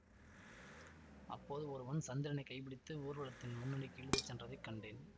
அப்போது ஒருவன் சந்திரனைக் கைப்பிடித்து ஊர்வலத்தின் முன்னணிக்கு இழுத்து சென்றதைக் கண்டேன்